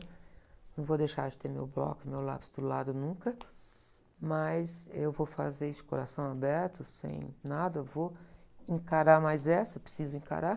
Não vou deixar de ter meu bloco e meu lápis do lado nunca, mas eu vou fazer isso de coração aberto, sem nada, vou encarar mais essa, preciso encarar.